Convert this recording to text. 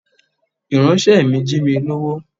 Ìránṣẹ́ mi jí mi lówó.